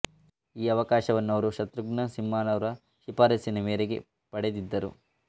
ಈ ಅವಕಾಶವನ್ನು ಅವರು ಶತ್ರುಘ್ನ ಸಿನ್ಹಾರವರ ಶಿಫಾರಸ್ಸಿನ ಮೇರೆಗೆ ಪಡೆದಿದ್ದರು